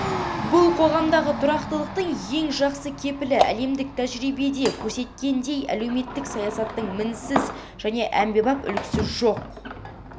бұл қоғамдағы тұрақтылықтың ең жақсы кепілі әлемдік тәжірибе көрсеткендей әлеуметтік саясаттың мінсіз және әмбебап үлгісі жоқ